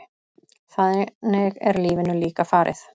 Þannig er lífinu líka farið.